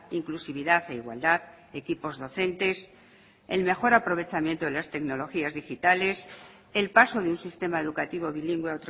inclusividad e igualdad equipos docentes el mejor aprovechamiento de las tecnologías digitales el paso de un sistema educativo bilingüe